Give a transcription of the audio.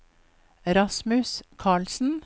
Rasmus Karlsen